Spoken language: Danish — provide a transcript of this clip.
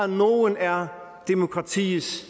nogle er demokratiets